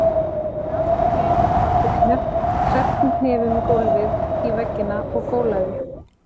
Ég lagðist á hnén og barði krepptum hnefum í gólfið og í veggina og gólaði.